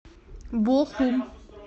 бохум